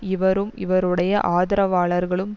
இவரும் இவருடைய ஆதரவாளர்களும்